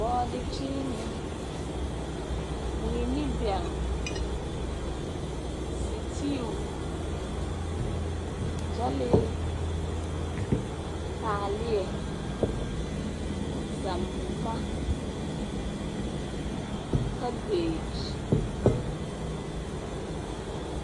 Bɔɔdekyeenee , mui ne bɛŋ, seteu, gyɛlee, taaleɛ, nzamma, kabeeky.